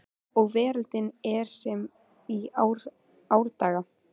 Og veröldin er sem í árdaga